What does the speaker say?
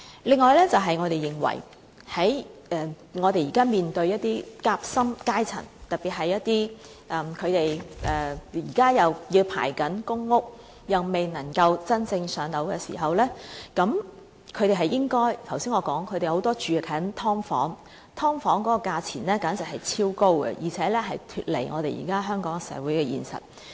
此外，我們認為現時"夾心階層"面對的問題，特別是他們現正輪候公屋，又未能真正"上樓"時，正如我剛才所說，他們很多人還居住在"劏房"裏，而"劏房"的租金價錢簡直超高，脫離了香港社會的現實。